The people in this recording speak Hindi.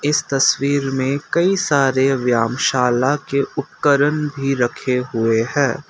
इस तस्वीर में कई सारे व्यामशाला के उपकरण भी रखे हुए है।